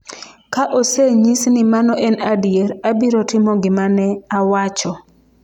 """Ka osenyis ni mano en adier, abiro timo gima ne awacho."